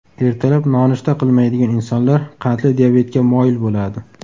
Ertalab nonushta qilmaydigan insonlar qandli diabetga moyil bo‘ladi”.